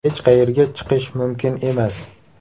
Hech qayerga chiqish mumkin emas.